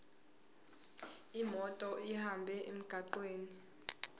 imoto ihambe emgwaqweni